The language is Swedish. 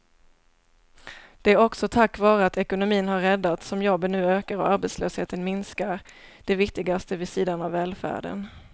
Det är också tack vare att ekonomin har räddats som jobben nu ökar och arbetslösheten minskar, det viktigaste vid sidan av välfärden.